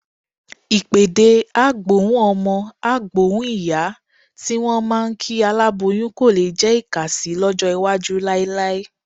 Ìpèdè "á gbóhùn ọmọ, á gbóhùn ìyá" tí wọ́n máa ń kí aláboyún kò lé jẹ́ ìkàsì lọ́jọ́ iwájú láíláí.